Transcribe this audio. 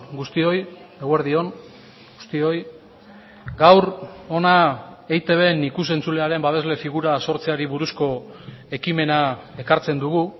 guztioi eguerdi on guztioi gaur hona eitbn ikus entzulearen babesle figura sortzeari buruzko ekimena ekartzen dugu